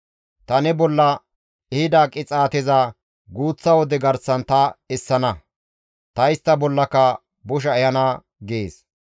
Ta ne bolla ehida qixaateza guuththa wode garsan ta essana; ta istta bollaka bosha ehana» gees.